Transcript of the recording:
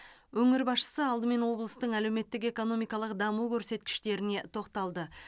өңір басшысы алдымен облыстың әлеуметтік экономикалық даму көрсеткіштеріне тоқталды